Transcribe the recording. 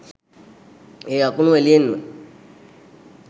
ඒ අකුණු එළියෙන්ම